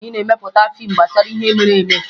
Anyị na-emepụta fiimu gbasara ihe mere eme